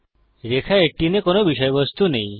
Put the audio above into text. রেখা 18 এ কোনো বিষয়বস্তু নেই